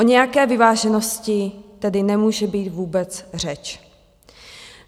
O nějaké vyváženosti tedy nemůže být vůbec řeč.